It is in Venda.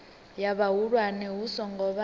ya vhahulwane hu songo vha